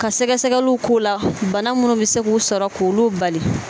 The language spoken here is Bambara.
Ka sɛgɛsɛgɛliw k'o la bana minnu bɛ se k'u sɔrɔ k'olu bali